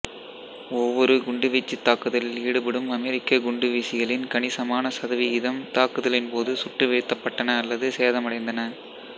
ஒவ்வொரு குண்டுவீச்சுத் தாக்குதலில் ஈடுபடும் அமெரிக்க குண்டுவீசிகளில் கணிசமான சதவிகிதம் தாக்குதலின் போது சுட்டு வீழ்த்தப்பட்டன அல்லது சேதமடைந்தன